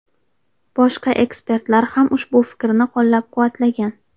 Boshqa ekspertlar ham ushbu fikrni qo‘llab-quvvatlagan.